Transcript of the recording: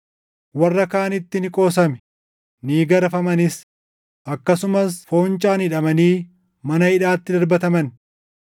Warra kaanitti ni qoosame; ni garafamanis; akkasumas foncaan hidhamanii mana hidhaatti darbataman.